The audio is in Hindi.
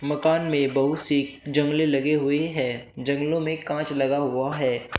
मकान में बहुत सी जंगलें लगे हुए हैं जंगलों में कांच लगा हुआ है।